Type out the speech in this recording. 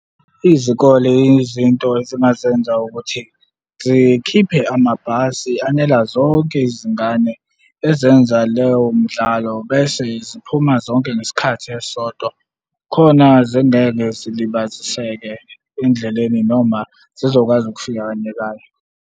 Izikole izinto ezingazenza ukuthi zikhiphe amabhasi anela zonke izingane ezenza leyo midlalo bese ziphuma zonke ngesikhathi esisodwa. Khona zingeke zilibaziseke endleleni noma zizokwazi ukufika kanyekanye.